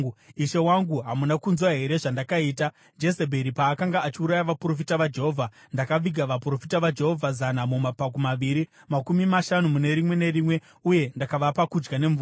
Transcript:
Ishe wangu, hamuna kunzwa here zvandakaita, Jezebheri paakanga achiuraya vaprofita vaJehovha? Ndakaviga vaprofita vaJehovha zana mumapako maviri, makumi mashanu mune rimwe nerimwe uye ndakavapa kudya nemvura.